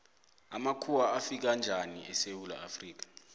amakhuwa afika njani esewula afrika